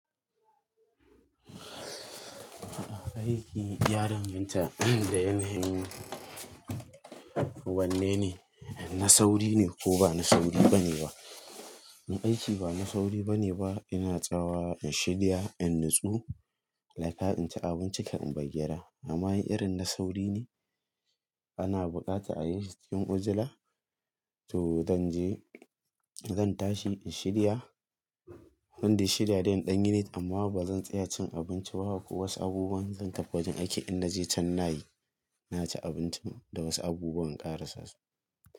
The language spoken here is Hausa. Aiki ya danganta yanda yanayin wanne ne, na sauri ne ko ba na sauri bane ba? Na aiki ba na sauri bane ba, ina tsawa in shirya, in nutsu, iyaka, in ci abinci kafin in bar gida. Amma in irin na sauri ne ana buƙata a yi shi cikin ujila. To zan je, zan tashi in shirya, zan dai shirya in danyi need amma ba zan tsaya cin abinci ba haka ko wasu abubuwan. Zan tafi wajen aiki in na je can nayi, na ci abinci da wasu abubuwan ƙarasa su.